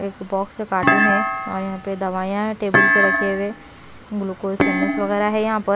एक box carton है और यहां पे दवाइयां टेबुल पर रखे हुए। ग्लूकोस सेंड्स वगैर है यहां पर--